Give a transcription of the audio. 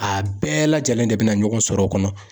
A bɛɛ lajɛlen de bɛna ɲɔgɔn sɔrɔ o kɔnɔ..